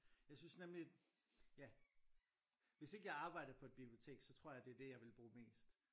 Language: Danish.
Jeg synes nemlig ja hvis ikke jeg arbejdede på et bibliotek så tror jeg det er det jeg ville bruge mest